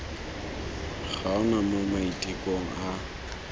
ga ona mo maitekong a